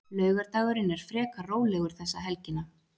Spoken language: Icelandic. Laugardagurinn er frekar rólegur þessa helgina.